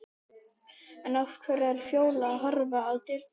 En af hverju er Fjóla að horfa til dyranna?